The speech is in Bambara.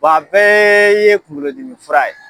Wa bɛɛ ye kunkolo dimi fura ye.